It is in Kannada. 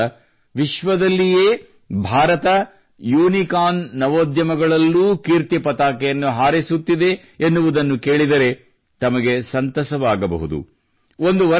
ಆದರೆ ಈಗ ವಿಶ್ವದಲ್ಲಿಯೇ ಭಾರತವು ಯೂನಿಕಾರ್ನ್ ನವೋದ್ಯಮಗಳಲ್ಲೂ ಕೀರ್ತಿ ಪತಾಕೆಯನ್ನು ಹಾರಿಸುತ್ತಿದೆ ಎನ್ನುವುದನ್ನು ಕೇಳಿದರೆ ತಮಗೆ ಸಂತಸವಾಗಬಹುದು